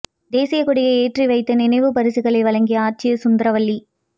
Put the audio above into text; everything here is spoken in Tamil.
தேசிய கொடியை ஏற்றி வைத்து நினைவு பரிசுகளை வழங்கிய ஆட்சியர் சுந்தரவல்லி